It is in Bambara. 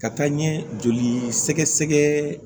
Ka taa n ye joli sɛgɛsɛgɛ